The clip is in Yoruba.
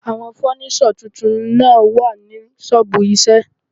Àwọn fọ́níṣọ̀ tuntun náà wà ní ṣọ́ọ̀bù iṣẹ́ ẹ̀.